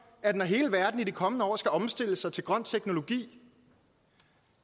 at når hele verden i de kommende år skal omstille sig til grøn teknologi